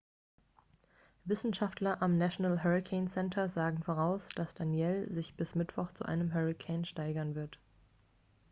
wissenschaftler am national hurricane center sagen voraus dass danielle sich bis mittwoch zu einem hurrikan steigern wird